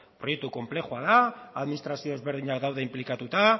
proiektu konplexua da administrazio ezberdinak daude inplikatuta